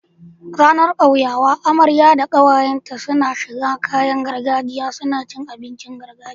Ranar kyauyawa amarya da kawayen ta na shigar kayan gargajiya suna cin abincin gargajiya